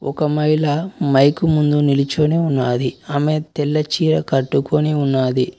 ఒక మహిళ మైకు ముందు నిలుచొని ఉన్నాది ఆమె తెల్ల చీర కట్టుకొని ఉన్నాది.